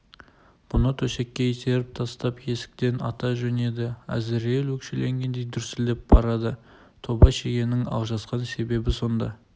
бұны төсекке итеріп тастап есіктен ата жөнеді әзірейіл өкшелегендей дүрсілдеп барады тоба шегенің алжасқан себебін сонда